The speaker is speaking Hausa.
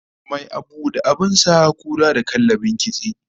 Mai abu da abin sa, kura da kallabin kitse